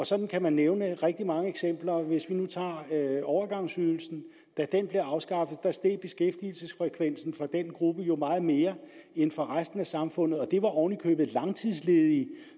sådan kan man nævne rigtig mange eksempler hvis vi nu tager overgangsydelsen da den blev afskaffet steg beskæftigelsesfrekvensen for den gruppe jo meget mere end for resten af samfundet og det var oven i købet langtidsledige